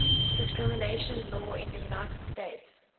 discrimination law in the united states